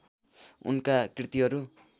उनका कृतिहरू